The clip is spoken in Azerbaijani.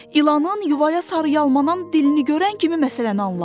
İlanın yuvaya sarı yalaman dilini görən kimi məsələni anladı.